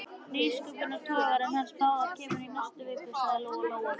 Nýsköpunartogarinn hans Bárðar kemur í næstu viku, sagði Lóa Lóa.